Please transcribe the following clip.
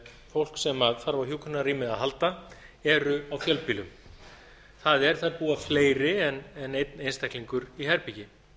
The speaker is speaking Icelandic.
fólk sem þarf á hjúkrunarrými að halda eru á fjölbýlum það er þar búa fleiri en einn einstaklingur í herbergi